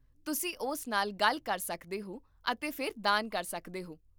ਤੁਸੀਂ ਉਸ ਨਾਲ ਗੱਲ ਕਰ ਸਕਦੇ ਹੋ ਅਤੇ ਫਿਰ ਦਾਨ ਕਰ ਸਕਦੇ ਹੋ